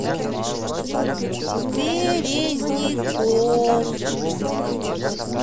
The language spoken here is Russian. березников